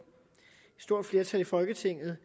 stort flertal i folketinget